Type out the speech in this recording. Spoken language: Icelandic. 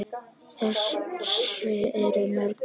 Þess eru mörg dæmi.